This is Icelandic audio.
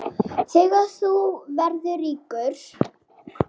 Þegar þú verður ríkur?